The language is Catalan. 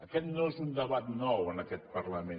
aquest no és un debat nou en aquest parlament